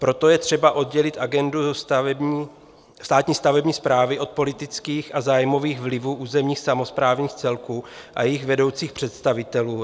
Proto je třeba oddělit agendu státní stavební správy od politických a zájmových vlivů územních samosprávných celků a jejich vedoucích představitelů.